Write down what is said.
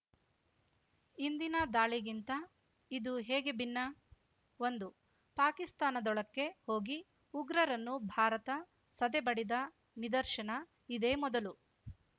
ಹಿಂದಿನ ದಾಳಿಗಿಂತ ಇದು ಹೇಗೆ ಭಿನ್ನ ಒಂದು ಪಾಕಿಸ್ತಾನದೊಳಕ್ಕೇ ಹೋಗಿ ಉಗ್ರರನ್ನು ಭಾರತ ಸದೆಬಡಿದ ನಿದರ್ಶನ ಇದೇ ಮೊದಲು